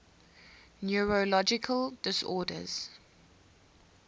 neurological disorders